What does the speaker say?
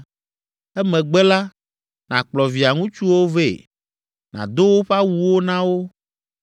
Emegbe la, nàkplɔ via ŋutsuwo vɛ, nàdo woƒe awuwo na wo,